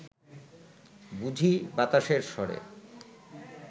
বুঝি বাতাসের স্বরে